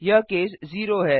यह केस 0 है